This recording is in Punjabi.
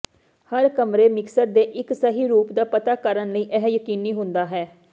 ਹਰ ਕਮਰੇ ਮਿਕਸਰ ਦੇ ਇੱਕ ਸਹੀ ਰੂਪ ਦਾ ਪਤਾ ਕਰਨ ਲਈ ਇਹ ਯਕੀਨੀ ਹੁੰਦਾ ਹੈ